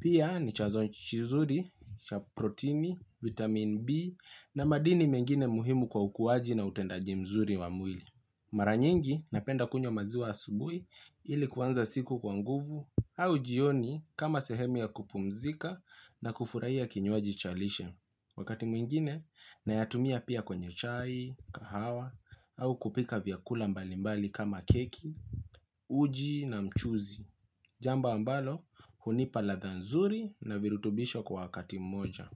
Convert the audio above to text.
Pia ni chazo chizuri, cha protini, vitamin B na madini mengine muhimu kwa ukuwaji na utendaji mzuri wa mwili. Mara nyingi, napenda kunywa maziwa asubuhi ili kuanza siku kwa nguvu au jioni kama sehemu ya kupumzika na kufurahia kinywaji cha lishe. Wakati mwingine, nayatumia pia kwenye chai, kahawa, au kupika vyakula mbalimbali kama keki, uji na mchuzi. Jambo ambalo, hunipa ladha nzuri na virutubisho kwa wakati mmoja.